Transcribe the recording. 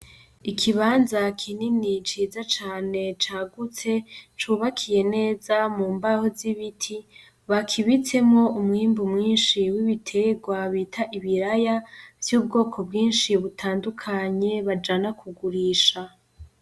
Ikibanza kinini ciza cane cagutse cubakiye neza m'umbaho z'ibiti bakibitsemo umwimbu mwinshi w'ibiterwa bita ibiraya, vy'ubwoko bwinshi butandukanye bajana kugurisha.